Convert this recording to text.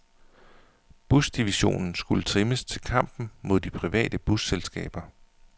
Busdivisionen skulle trimmes til kampen mod de private busselskaber.